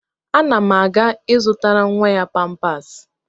Ana m aga ịzụtara nwa ya pampers.